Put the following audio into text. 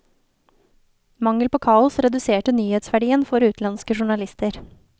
Mangel på kaos reduserte nyhetsverdien for utenlandske journalister.